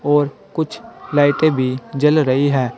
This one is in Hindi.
और कुछ लाइटें भी जल रही है।